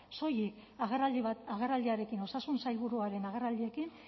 soilik agerraldi bat agerraldiarekin osasun sailburuaren agerraldiekin